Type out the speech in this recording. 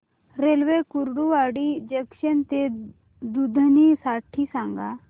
railway Kurduwadi junction ते दुधनी साठी सांगा